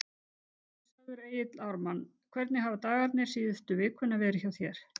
Blessaður Egill Ármann, hvernig hafa dagarnir síðustu vikuna verið hjá þér?